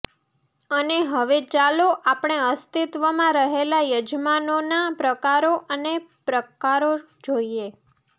અને હવે ચાલો આપણે અસ્તિત્વમાં રહેલા યજમાનોના પ્રકારો અને પ્રકારો જોઈએ